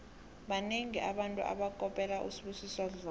banengi abantu abakopela usibusiso dlomo